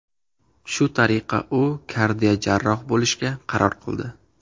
Shu tariqa u kardiojarroh bo‘lishga qaror qildi.